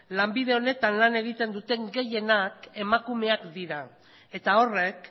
lanbide honetan lan egiten duten gehienak emakumeak dira eta horrek